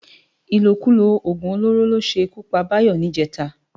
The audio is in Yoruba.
Ilókúló ógún ólóró ló ṣé kú pá Bayo nijètá